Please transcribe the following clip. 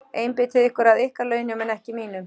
Einbeitið ykkur að ykkar launum en ekki mínum.